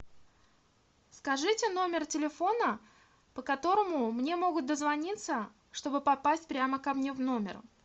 скажите номер телефона по которому мне могут дозвониться чтобы попасть прямо ко мне в номер